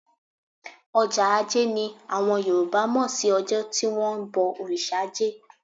Ọjọ́ ajé ni àwọn Yorùbá mọ̀ sí ọjọ́ tí wón ń bọ òrìṣà ajé.